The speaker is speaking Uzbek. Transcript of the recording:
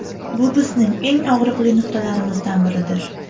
Bu bizning eng og‘riqli nuqtalarimizdan biridir.